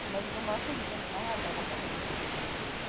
Marigũ ma kũrinda nĩmahandagwo mũno Mĩrũ.